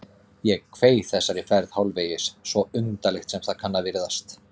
Ég kveið þessari ferð hálfvegis, svo undarlegt sem það kann að virðast